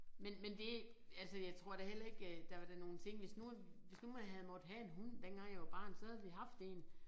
Men men det altså jeg tror da heller ikke øh der er da nogle ting hvis nu at hvis nu man havde måttet have en hund dengang jeg var barn så havde vi haft én